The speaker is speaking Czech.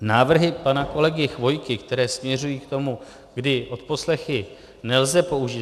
Návrhy pana kolegy Chvojky, které směřují k tomu, kdy odposlechy nelze použít...